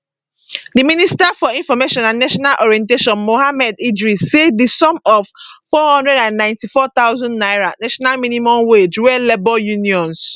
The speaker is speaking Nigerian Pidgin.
di minister for information and national orientation mohammed idris say di sum of 494000 naira national minimum wage wey labour unions